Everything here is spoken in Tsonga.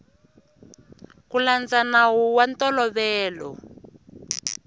ku landza nawu wa ntolovelo